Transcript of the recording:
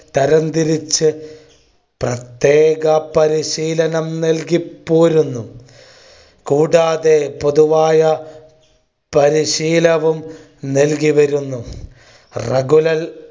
തരം തിരിച്ചു പ്രത്യേക പരിശീലനം നൽകി പോരുന്നു കൂടാതെ പൊതുവായ പരിശീലവും നൽകി വരുന്നു. regular